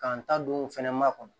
K'an ta don fɛnɛ makɔnɔ